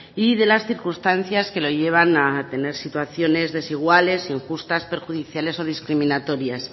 y de las circunstancias que lo llevan a tener situaciones desiguales injustas perjudiciales o discriminatorias